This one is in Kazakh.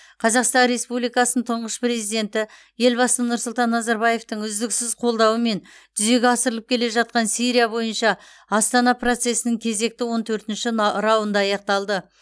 қазақстан республикасының тұңғыш президенті елбасы нұрсұлтан назарбаевтың үздіксіз қолдауымен жүзеге асырылып келе жатқан сирия бойынша астана процесінің кезекті он төртінші на раунды аяқталды